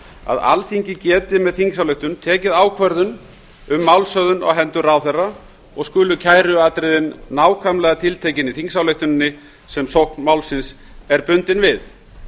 að alþingi geti með þingsályktun tekið ákvörðun um málshöfðun á hendur ráðherra og skulu kæruatriðið nákvæmlega tiltekin í þingsályktuninni sem sókn málsins er bundin við